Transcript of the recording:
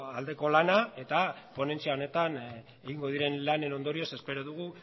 aldeko lana eta ponentzia honetan egingo diren lanen ondorioz espero dugu